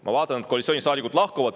Ma vaatan, et koalitsioonisaadikud lahkuvad.